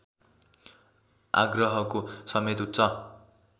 आग्रहको समेत उच्च